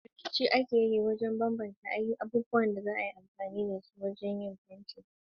Riƙe kayan aiki azaman kari na kanku, a matsayin alamun kerawa da fasaha na ɗan adam.